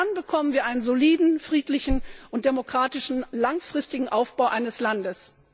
Nur dann bekommen wir einen soliden, friedlichen und demokratischen, langfristigen Aufbau eines Landes.